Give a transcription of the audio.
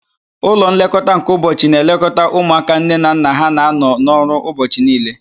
Ụlọ nlekọta nke ụbọchị na-elekọta ụmụaka nne na nna ha na-anọ n'ọrụ ụbọchị niile.